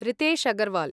Ritesh Agarwal